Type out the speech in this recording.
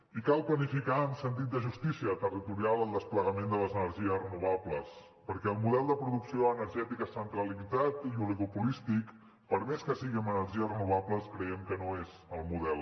i cal planificar amb sentit de justícia territorial el desplegament de les energies renovables perquè el model de producció energètica centralitzat i oligopolístic per més que sigui amb energies renovables creiem que no és el model